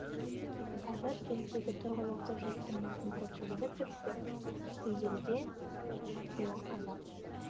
қазір кенттегі тұрғылықты жұрттың басым көпшілігі тіпті түгел де жуығы қазақ